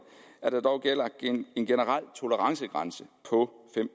at der dog gælder en generel tolerancegrænse på fem